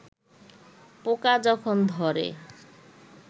পোকা যখন ধরে